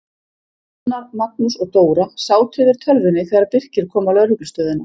Gunnar, Magnús og Dóra sátu yfir tölvunni þegar Birkir kom á lögreglustöðina.